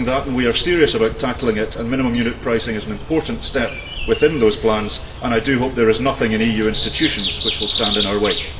We are serious about tackling that, and minimum unit pricing is an important step within those plans and I do hope there is nothing in EU institutions which will stand in our way.